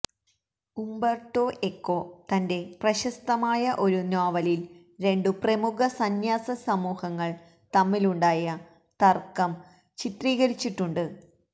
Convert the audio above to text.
Umberto Eco തന്റെ പ്രശസ്തമായ ഒരു നോവലില് രണ്ടു പ്രമുഖ സന്ന്യാസസമൂഹങ്ങള് തമ്മിലുണ്ടായ തര്ക്കം ചിത്രീകരിച്ചിട്ടുണ്ട്